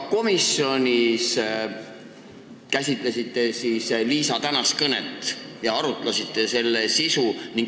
Kas te käsitlesite ka komisjonis Liisa tänast kõnet ja arutasite selle sisu?